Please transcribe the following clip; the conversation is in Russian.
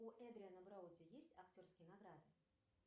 у эдриана броуди есть актерские награды